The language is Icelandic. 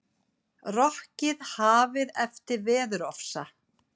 Rokkið hafið eftir veðurofsa